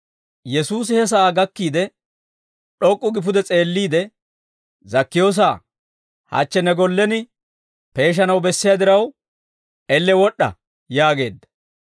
Yesuusi he sa'aa gakkiide, d'ok'k'u gi pude s'eelliide, «Zakkiyoosa, hachche ne gollen peeshanaw bessiyaa diraw elle wod'd'a» yaageedda.